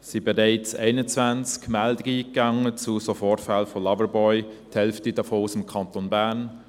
Es sind bereits 21 Meldungen zu solchen Vorfällen mit Loverboys eingegangen, die Hälfte davon im Kanton Bern.